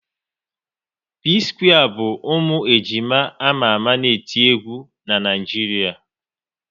P-square bụ ụmụ ejima ama ama n'eti egwu n'Naijiria